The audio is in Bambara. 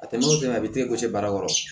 A tɛmɛnen o kɛmɛ a bi baara yɔrɔ